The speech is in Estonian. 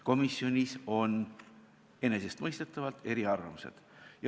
Komisjonis on enesestmõistetavalt eriarvamused.